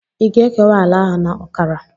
Ị ga-ekewa ala ahụ na ọkara?